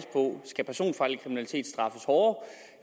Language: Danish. på skal personfarlig kriminalitet straffes hårdere